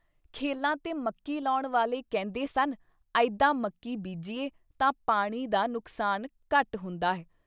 ਖੇਲ਼ਾਂ ’ਤੇ ਮੱਕੀ ਲੌਣ ਵਾਲੇ ਕਹਿੰਦੇ ਸਨ - ਅਈਦਾਂ ਮੱਕੀ ਬੀਜੀਏ ਤਾਂ ਪਾਣੀ ਦਾ ਨੁਕਸਾਨ ਘੱਟ ਹੁੰਦਾ ਹੈ।